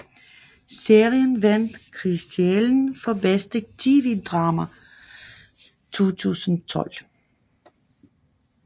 Serien vandt Kristiallen for bedste TV drama 2012